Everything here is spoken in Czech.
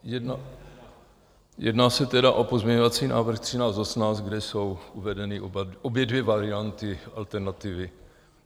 Jedná se tedy o pozměňovací návrh 1318, kde jsou uvedeny obě dvě varianty, alternativy.